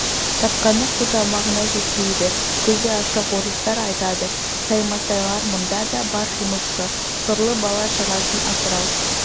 тапқаны қу тамағына жетпейді көзі ашық орыстар айтады саймасайлар мұнда да бар жұмысшы сорлы бала-шағасын асырау